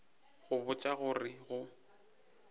go botša go re go